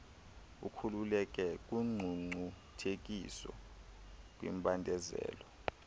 ukhululeke kungcungcuthekiso kwimbandezelo